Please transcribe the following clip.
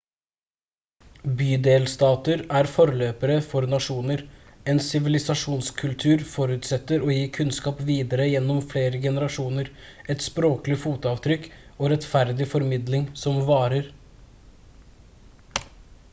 bydelstater er forløpere for nasjoner en sivilisasjonskultur forutsetter å gi kunnskap videre gjennom flere generasjoner et språklig fotavtrykk og rettferdig formidling som varer